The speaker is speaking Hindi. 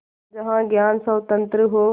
जहाँ ज्ञान स्वतन्त्र हो